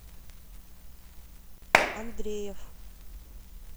андреев